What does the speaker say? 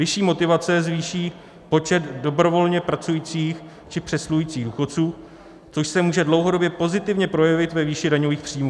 Vyšší motivace zvýší počet dobrovolně pracujících či přesluhujících důchodců, což se může dlouhodobě pozitivně projevit ve výši daňových příjmů.